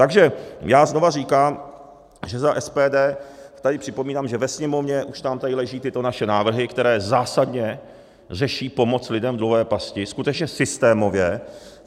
Takže já znova říkám, že za SPD tady připomínám, že ve Sněmovně už nám tady leží tyto naše návrhy, které zásadně řeší pomoc lidem v dluhové pasti, skutečně systémově.